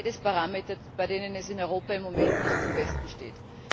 Beides Parameter, bei denen es in Europa im Moment nicht zum Besten steht.